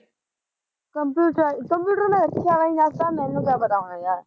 computer ਆਲੀ, computer ਮੈਂ ਰੱਖਿਆ ਵੀ ਨਸ ਤਾਂ ਮੈਨੂੰ ਕੀ ਪਤਾ ਹੋਣਾ ਯਾਰ